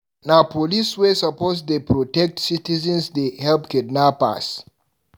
Na police wey suppose dey protect citizens dey help kidnappers.